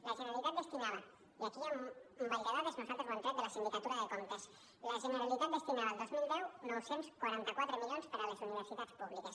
la generalitat destinava i aquí hi ha un ball de dades nosaltres ho hem tret de la sindicatura de comptes el dos mil deu nou cents i quaranta quatre milions per a les universitats públiques